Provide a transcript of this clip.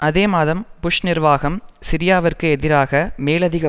அதே மாதம் புஷ் நிர்வாகம் சிரியாவிற்கு எதிராக மேலதிக